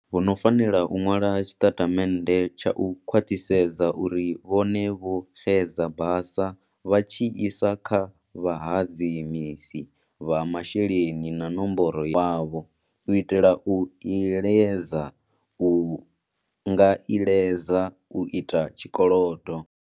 Vho ṅo fanela u ṅwala tshiṅatamennde tsha u khwaṅisedza uri vhone vho xedza basa vha tshi isa kha vhahadzimisi vha masheleni na nomboro ya mulandu wavho u itela u iledza u nga iledzwa u ita tshikolodo.